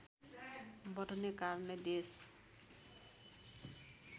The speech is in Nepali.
बढ्ने कारणले देश